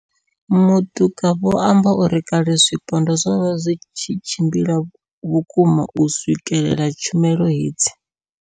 Matuka vho amba uri kale zwipondwa zwo vha zwi tshi tshimbila vhukuma u swikelela tshumelo hedzi.